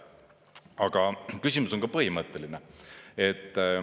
Aga küsimus on põhimõtteline.